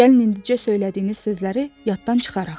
Gəlin indicə söylədiyiniz sözləri yaddan çıxaraq.